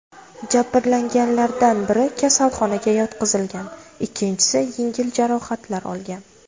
Jabrlanganlardan biri kasalxonaga yotqizilgan, ikkinchisi yengil jarohatlar olgan.